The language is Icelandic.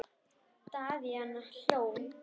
Daðína hló.